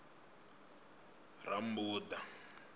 rammbuḓa